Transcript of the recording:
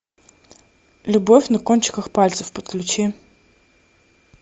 любовь на кончиках пальцев подключи